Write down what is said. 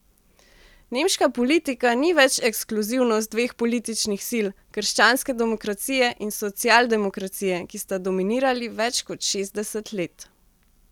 Nemška politika ni več ekskluzivnost dveh političnih sil, krščanske demokracije in socialdemokracije, ki sta dominirali več kot šestdeset let.